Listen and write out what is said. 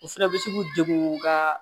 O fɛnɛ bɛ se k'u degu u ka